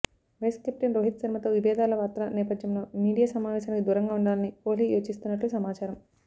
vice captain Rohit శర్మతో విబేధాల వార్తల నేపథ్యంలో మీడియా సమావేశానికి దూరంగా ఉండాలని కోహ్లి యోచిస్తున్నట్లు సమాచారం